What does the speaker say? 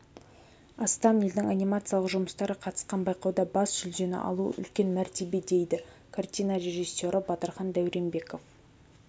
астам елдің анимациялық жұмыстары қатысқан байқауда бас жүлдені алу үлкен мәртебе дейді картина режиссері батырхан дәуренбеков